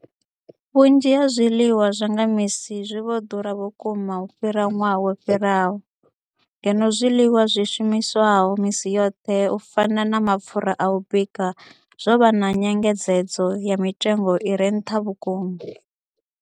Vhunzhi ha zwiḽiwa zwa nga misi zwi vho ḓura vhukuma u fhira ṅwaha wo fhiraho, ngeno zwiḽiwa zwi shumiswaho misi yoṱhe u fana na mapfhura a u bika zwo vha na nyengedzedzo ya mitengo i re nṱha vhukuma.